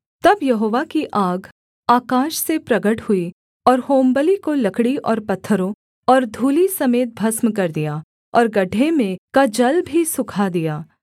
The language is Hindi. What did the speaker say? तब यहोवा की आग आकाश से प्रगट हुई और होमबलि को लकड़ी और पत्थरों और धूलि समेत भस्म कर दिया और गड्ढे में का जल भी सूखा दिया